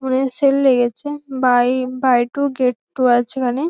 মনে হয় সেল লেগেছে। Buy buy two get two আছে এখানে।